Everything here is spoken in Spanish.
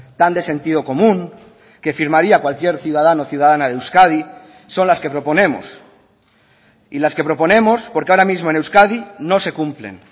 tan de sentido común que firmaría cualquier ciudadano ciudadana de euskadi son las que proponemos y las que proponemos porque ahora mismo en euskadi no se cumplen